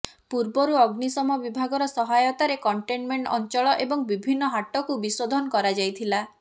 ପୂର୍ବରୁ ଅଗ୍ନିଶମ ବିଭାଗର ସହାୟତାରେ କଣ୍ଟେନମେଣ୍ଟ ଅଞ୍ଚଳ ଏବଂ ବିଭିନ୍ନ ହାଟକୁ ବିଶୋଧନ କରାଯାଇଥିଲା